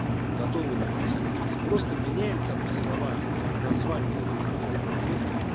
готовый написано текст просто меняем там словах название финансовой пирамиды